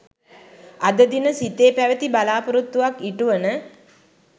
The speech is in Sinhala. අද දින සිතේ පැවති බලා‍පොරොත්තුවක් ඉටුවන